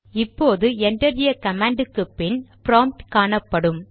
இப்போது enter a command க்கு பின் ப்ராம்ட் காணப்படும்